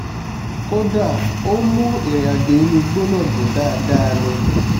kódà ó mú ìrìnàjò inú igbó náà dùn dáadáa ni